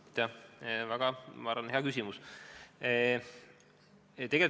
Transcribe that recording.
Ma arvan, et see on väga hea küsimus!